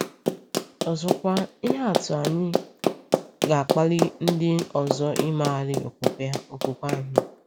Ọzọkwa, ihe atụ anyị ga-akpali ndị ọzọ imegharị okwukwe anyị.